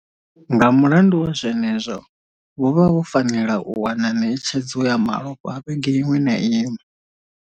Nga mulandu wa zwe nezwo, vho vha vho fanela u wana ṋetshedzo ya malofha vhege iṅwe na iṅwe.